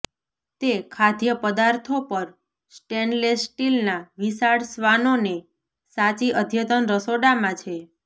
તે ખાદ્યપદાર્થો પર સ્ટેનલેસ સ્ટીલના વિશાળ શ્વાનોને સાચી અદ્યતન રસોડામાં છે